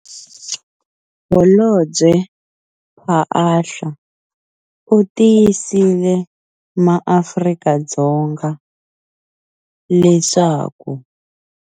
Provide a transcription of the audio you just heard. Holobye Phaahla u tiyisile maAfrika-Dzonga leswaku.